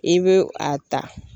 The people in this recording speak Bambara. I bɛ a ta.